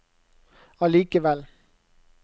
allikevel